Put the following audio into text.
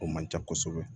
O man ca kosɛbɛ